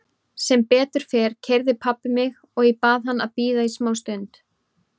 Sem betur fer keyrði pabbi mig og ég bað hann að bíða í smá stund.